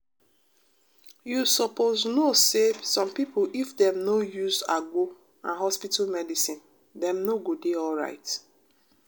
you sopose no say some pipo if dem no use agbo and hospital medicine dem no go dey alright.